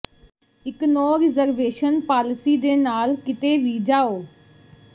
ਇੱਕ no reservation policy ਦੇ ਨਾਲ ਕਿਤੇ ਵੀ ਜਾਓ